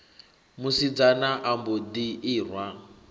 musidzana a mbo ḓi irwa